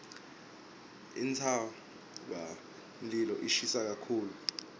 intsabamlilo ishisa kakhulu